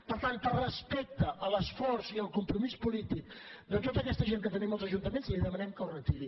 per tant per respecte a l’esforç i el compromís polític de tota aquesta gent que tenim als ajuntaments li demanem que ho retiri